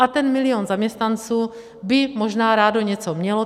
A ten milion zaměstnanců by možná rád něco měl.